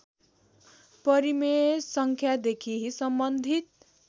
परिमेय सङ्ख्यादेखि सम्बन्धित